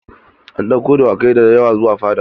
An ɗauko dawakai da yawa zuwa fada.